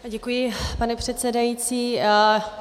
Děkuji, pane předsedající.